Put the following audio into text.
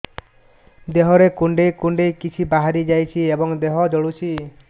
ଦେହରେ କୁଣ୍ଡେଇ କୁଣ୍ଡେଇ କିଛି ବାହାରି ଯାଉଛି ଏବଂ ଦେହ ଜଳୁଛି